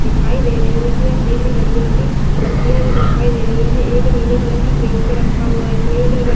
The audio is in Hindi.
दिखाई दे रही है उसमें हरी-हरी लंबी-लंबी पत्तियाँ भी दिखाई दे रही हैं एक नीले कलर की क्रेट पर रखा हुआ है क्रेट --